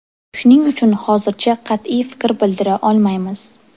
Shuning uchun hozircha qat’iy fikr bildira olmaymiz.